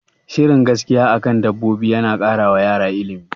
Shirin gaskiya akan dabbobi yana kara wa yara ilimi